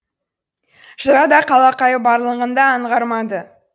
жырада қалақай барлығын да аңғармады